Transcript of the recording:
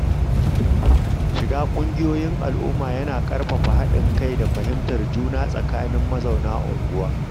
Shiga ƙungiyoyin al’umma yana ƙarfafa haɗin kai da fahimtar juna tsakanin mazauna unguwa.